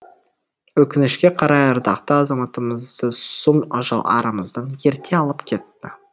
өкінішке қарай ардақты азаматымызды сұм ажал арамыздан ерте алып кетті